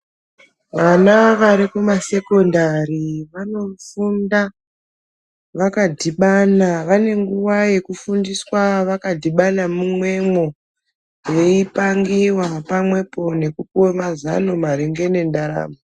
Vana vari kumasekondari vanofunda vakadhibana vane nguwa yekufundiswa vakadhibana mumwemo veipangiwa pamwepo nekupuwe mazano maringe nentharamo.